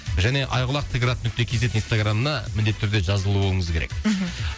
және айқұлақ т град нүкте кз инстаграмына міндетті түрде жазылуыңыз керек мхм